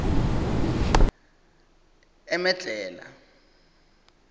emedlhela